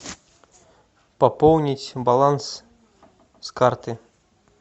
пополнить баланс с карты